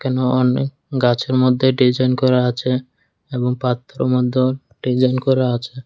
এখানে অনেক গাছের মধ্যে ডিজাইন করা আছে এবং পাত্রর মধ্যেও ডিজাইন করা আছে।